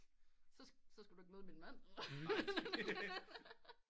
Så så skal du ikke møde min mand